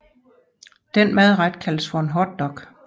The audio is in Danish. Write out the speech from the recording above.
Denne madret kaldes for en hotdog